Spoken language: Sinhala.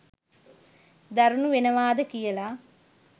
දරුණු වෙනවාද කියලා.